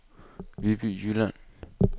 Viby Jylland